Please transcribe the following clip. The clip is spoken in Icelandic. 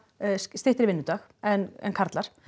styttri vinnudag en en karlar